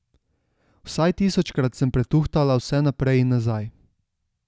Vsaj tisočkrat sem pretuhtala vse naprej in nazaj.